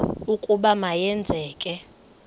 ukuba ma yenzeke